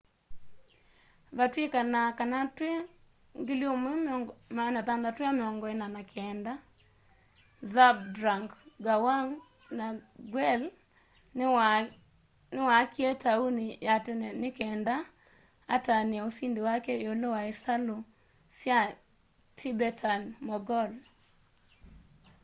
vatwikanaa kana twi 1649 zhabdrung ngawang namgyel niwaakie tauni ya tene nikenda atanie usindi wake iulu wa isalu sya tibetan-mongol